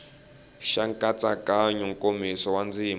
xa nkatsakanyo nkomiso wa ndzima